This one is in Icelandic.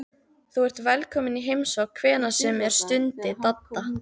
Þú ert velkominn í heimsókn hvenær sem er stundi Dadda.